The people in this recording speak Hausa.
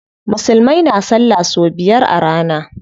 Musulmai na salla sau biyar a rana.